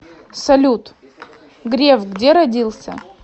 салют греф где родился